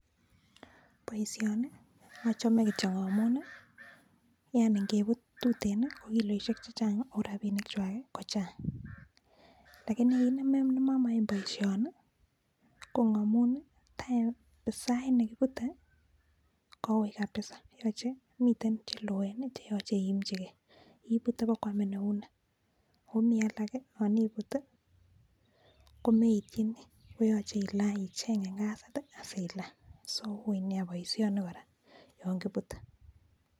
Boisioni achome kityo amun yaani ngepuut tuteen ko kiloishek chechang ako rapinik chwai kochang lakini kiit nemamae boisioni ko amun sait nekipute koui kapsa, mitei che loen cheyoche iimchikei, ipute ipkwaamin eunek ako komi alak yon keput komitini koyache icheng ngasit asilany so uui nea boisioni kora yon kiputei.